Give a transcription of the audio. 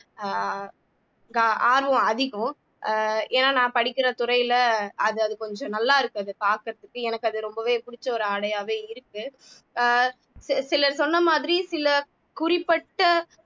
அஹ் ஆர்வம் அதிகம் ஆஹ் ஏன்னா நான் படிக்கிற துறையில அது அது கொஞ்சம் நல்லா இருக்கு அதை பாக்குறதுக்கு எனக்கு அது ரொம்பவே புடிச்ச ஒரு ஆடையாவே இருக்கு ஆஹ் சில சிலர் சொன்ன மாதிரி சில குறிப்பட்ட